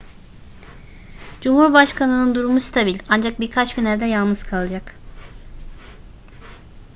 cumhurbaşkanının durumu stabil ancak birkaç gün evde yalnız kalacak